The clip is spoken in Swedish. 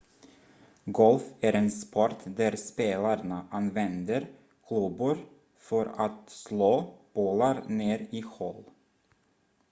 golf är en sport där spelarna använder klubbor för att slå bollar ner i hål